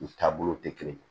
U taabolo tɛ kelen ye